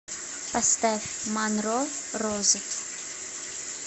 поставь манро розы